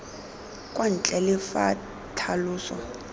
kwa ntle le fa tlhaloso